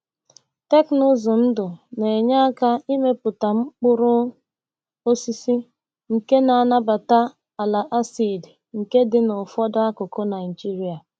Teknụzụ ndụ na-enye aka imepụta mkpụrụ osisi nke na-anabata ala acid nke dị na ụfọdụ akụkụ Naijiria.